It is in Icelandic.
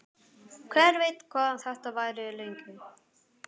Hver veit hvað þetta varir lengi?